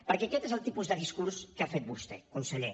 perquè aquest és el tipus de discurs que ha fet vostè conseller